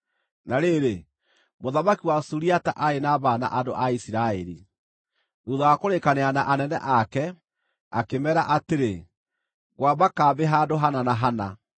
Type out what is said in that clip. Na rĩrĩ, mũthamaki wa Suriata aarĩ na mbaara na andũ a Isiraeli. Thuutha wa kũrĩkanĩra na anene ake, akĩmeera atĩrĩ, “Ngwamba kambĩ handũ hana na hana.”